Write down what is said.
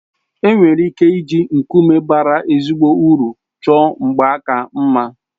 Enwere ike iji nkume bàrá ezigbo uru chọọ mgbaaka mma